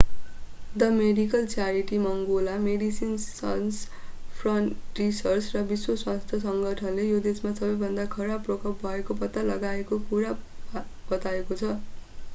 the medical charity मङ्गोला Medecins Sans Frontieres र विश्व स्वास्थ्य सङ्गठनले यो देशमा सबैभन्दा खराब प्रकोप भएको पत्ता लागेको कुरा बताएको छ